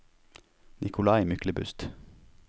Nikolai Myklebust